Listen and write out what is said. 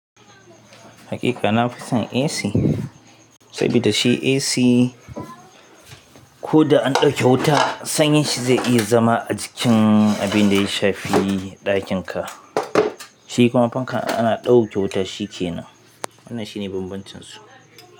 Hakika na fi son AC saboda shi AC ko da an ɗau kya wuta sanyin shi zai iya zama a jikin abin da ya shafi ɗakin ka. Shi kuma fanka ana ɗauke wuta shi ke nan. Wannan shi ne bambancin su.